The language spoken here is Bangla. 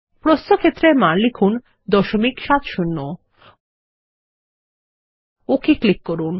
প্রস্থ ক্ষেত্রে মান লিখুন 70 ওক ক্লিক করুন